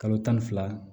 Kalo tan ni fila